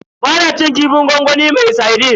Ba na cin kifin gwangwami na sardine.